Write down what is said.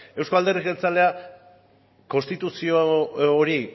euzko alderdi jeltzalea konstituzio hori